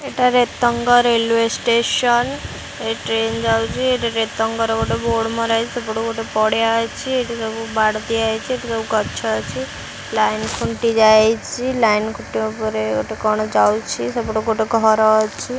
ଏଟା Retang railway station ଏଠି train ଯାଉଛି ରେତଙ୍ଗ ର ଗୋଟେ ବୋର୍ଡ ମରାଯାଇଛି ସେପଟକୁ ଗୋଟେ ପଡିଆ ଅଛି ଏଠି ସବୁ ବାଡ଼ ଦିଆହେଇଛି ଗଛ ଅଛି ଲାଇନ ଖୁଣ୍ଟି ଯାଇଛି ଲାଇନ ଖୁଣ୍ଟି ଉପରେ ଗୋଟେ କଣ ଯାଉଛି ସେପଟେ ଗୋଟେ ଘର ଅଛି।